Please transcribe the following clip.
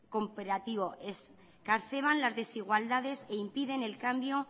que las desigualdades e impiden el cambio